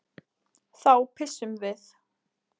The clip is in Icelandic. Þá pissum við.